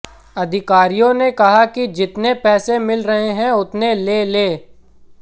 अधिकारियों ने कहा कि जितने पैसे मिल रहे हैं उतने ले लें